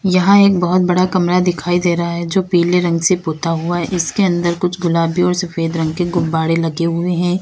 यहां एक बहुत बड़ा कमरा दिखाई दे रहा है जो पीले रंग से पोता हुआ है इसके अंदर कुछ गुलाबी और सफेद रंग के गुब्बारे लगे हुए हैं।